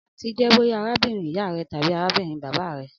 Anti jẹ boya arabinrin iya rẹ tabi arabinrin baba rẹ.